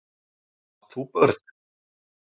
Átt þú börn?